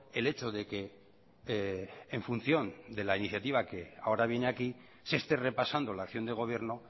el hecho de que en función de la iniciativa que ahora viene aquí se esté repasando la acción de gobierno